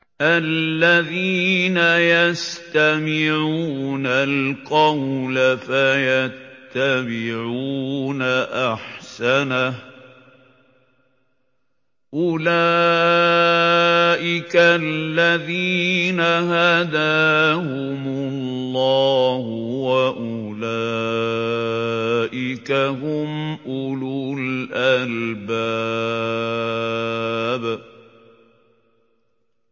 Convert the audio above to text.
الَّذِينَ يَسْتَمِعُونَ الْقَوْلَ فَيَتَّبِعُونَ أَحْسَنَهُ ۚ أُولَٰئِكَ الَّذِينَ هَدَاهُمُ اللَّهُ ۖ وَأُولَٰئِكَ هُمْ أُولُو الْأَلْبَابِ